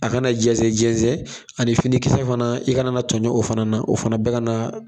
A kana jɛsɛn jɛsɛn ani finikisɛ fana, i kana na tɔɲɔ o fana na. O fana bɛ kana